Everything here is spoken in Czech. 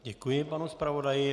Děkuji panu zpravodaji.